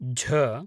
झ